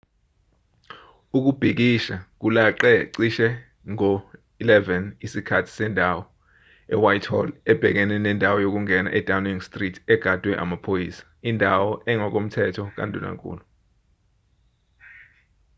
ukubhikisha kulaqe cishe ngo-11:00 isikhathi sendawo utc+1 ewhitehall ebhekene nendawo yokungena edowning street egadwe amaphoyisa indawo engokomthetho kandunankulu